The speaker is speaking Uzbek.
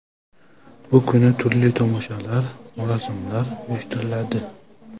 Bu kuni turli tomoshalar, marosimlar uyushtiriladi.